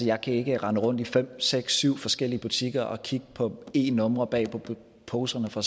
jeg kan ikke rende rundt i fem seks eller syv forskellige butikker og kigge på e numre bag på poserne for